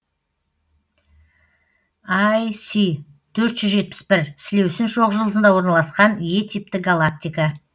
іс төрт жүз жетпіс бір сілеусін шоқжұлдызында орналасқан е типті галактика